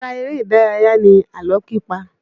Ara eré ìdárayá ni àlọ́ pípa.